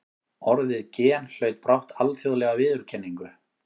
Orðið gen hlaut brátt alþjóðlega viðurkenningu.